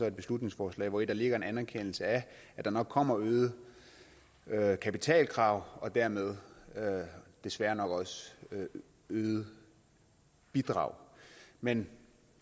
et beslutningsforslag hvori der ligger en anerkendelse af at der nok kommer øgede øgede kapitalkrav og dermed desværre nok også øgede bidrag men